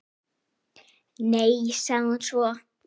Nei, sagði hún svo.